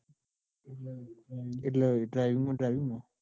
એટલે driving માં driving માં?